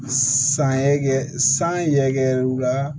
San ye kɛ san yɛrɛkɛ la